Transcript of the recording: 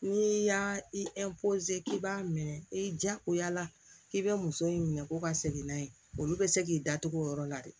N'i y'a i k'i b'a minɛ i diyagoya la k'i bɛ muso in minɛ ko ka segin n'a ye olu bɛ se k'i da tugu o yɔrɔ la de